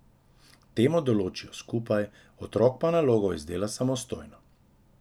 Temo določijo skupaj, otrok pa nalogo izdela samostojno.